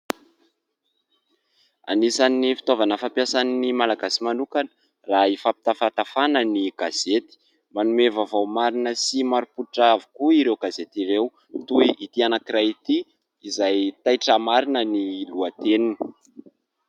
Anisany fitaovana fampiasan'ny Malagasy manokana raha hifampitafatafana ny gazety, manome vaovao marina sy marim-pototra avokoa ireo gazety ireo toy ity anankiray ity izay « taitra marina » ny lohateniny.